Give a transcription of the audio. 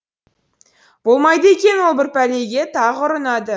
болмайды екен ол бір пәлеге тағы ұрынады